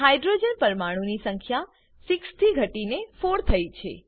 hydrogen પરમાણુ ની સંખ્યા 6 ઘટીને 4 થયી છે